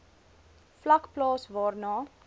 vlak plaas waarna